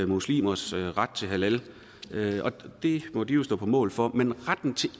muslimers ret til halal og det må de jo stå på mål for men retten til at